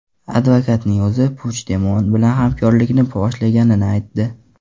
Advokatning o‘zi Puchdemon bilan hamkorlikni boshlaganini aytdi.